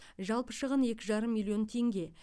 жалпы шығын екі жарым миллион теңге